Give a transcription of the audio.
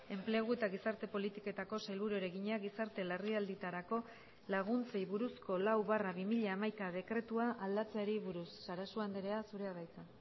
enplegu eta gizarte politiketako sailburuari egina gizarte larrialdietarako laguntzei buruzko lau barra bi mila hamaika dekretua aldatzeari buruz sarasua andrea zurea da hitza